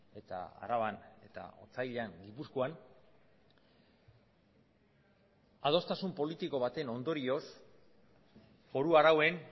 eta araban eta otsailean gipuzkoan adostasun politiko baten ondorioz foru arauen